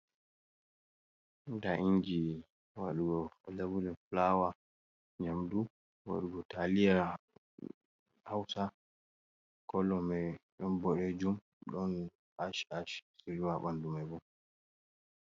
Ɗa ingi waɗugo labuɗe fulawa nyamɗu waɗugo taliyar hausa. Kolo mai ɗon boɗejum, ɗon ash ash riwa banɗu mai bo.